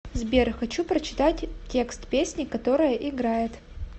сбер хочу прочитать текст песни которая играет